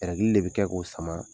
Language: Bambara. de be kɛ k'o sama